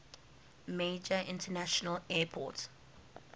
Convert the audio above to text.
major international airport